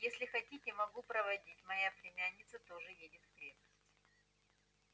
если хотите могу проводить моя племянница тоже едет в крепость